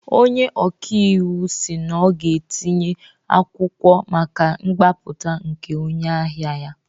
Onye ọkaiwu si na ọ ga-etinye akwụkwọ maka mgbapụta nke onye ahịa ya